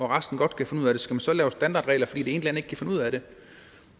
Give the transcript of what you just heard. resten godt kan finde ud af det skal man så lave standardregler fordi land ikke kan finde ud af det